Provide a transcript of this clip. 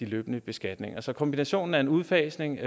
løbende beskatning så kombinationen af en udfasning